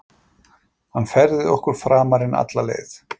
Hann færði okkur framar en alla leið.